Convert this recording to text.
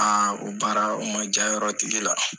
Aa o baara ma diya yɔrɔ tigi la.